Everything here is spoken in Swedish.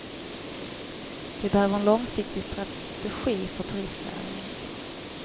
Vi behöver en långsiktig strategi för turistnäringen.